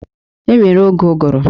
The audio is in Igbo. E nwere oge ụgụrụ.